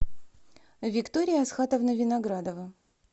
виктория асхатовна виноградова